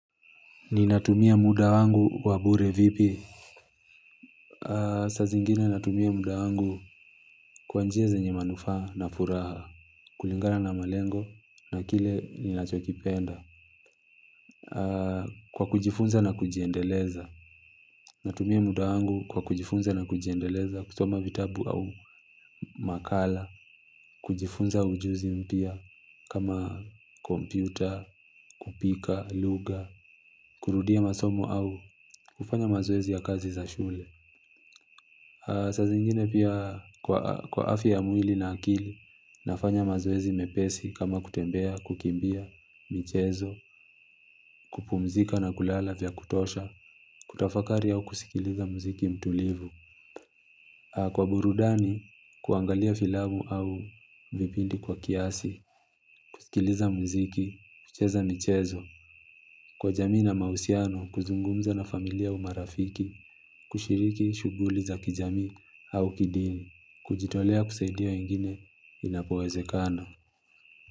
Ninatumia muda wangu wa bure vipi. Sa zingine natumia muda wangu kwa njia zenye manufaa na furaha. Kulingana na malengo na kile ninachokipenda kwa kujifunza na kujiendeleza natumia muda wangu kwa kujifunza na kujiendeleza kusoma vitabu au makala. Kujifunza ujuzi mpia kama kompyuta, kupika, lugha. Kurudia masomo au kufanya mazoezi ya kazi za shule. Sa zingine pia kwa afya ya mwili na akili, nafanya mazoezii mepesi kama kutembea, kukimbia, michezo, kupumzika na kulala vya kutosha, kutafakari au kusikiliza muziki mtulivu. Kwa burudani, kuangalia filamu au vipindi kwa kiasi, kusikiliza muziki, kucheza michezo, kwa jamii na mausiano, kuzungumza na familia marafiki, kushiriki shuguli za kijamii au kidini, kujitolea kusaidia wengine inapoweze kana.